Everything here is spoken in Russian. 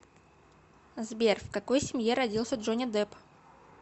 сбер в какой семье родился джонни депп